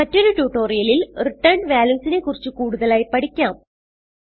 മറ്റൊരു ട്യൂട്ടോറിയലിൽ returned values നെ കുറിച്ച് കൂടുതലായി പഠിക്കാം